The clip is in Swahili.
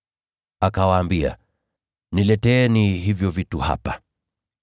Akawaambia, “Nileteeni hivyo vitu hapa.”